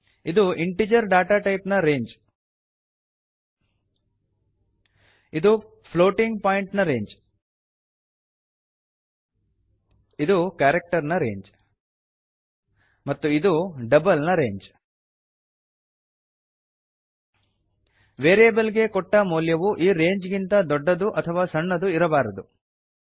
ಇದು integer data type ನ range ಇದು ಫ್ಲೋಟಿಂಗ್ ಪಾಯಿಂಟ್ ನ ರೇಂಜ್ ಇದು ಕಾರಕ್ಟರ್ ನ ರೇಂಜ್ ಮತ್ತು ಇದು ಡಬಲ್ ನ ರೇಂಜ್ ವೇರಿಯೇಬಲ್ ಗೆ ಕೊಟ್ಟ ಮೌಲ್ಯವು ಈ ರೇಂಜ್ ಗಿಂತ ದೊಡ್ಡದು ಅಥವಾ ಸಣ್ಣದು ಇರಬಾರದು